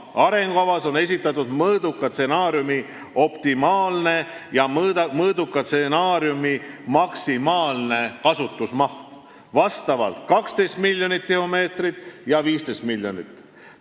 Arengukavas on esitatud mõõduka stsenaariumi optimaalne ja mõõduka stsenaariumi maksimaalne kasutusmaht: 12 miljonit ja 15 miljonit tihumeetrit.